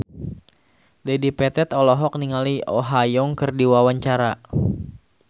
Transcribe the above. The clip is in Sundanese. Dedi Petet olohok ningali Oh Ha Young keur diwawancara